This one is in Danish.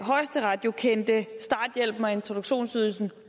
det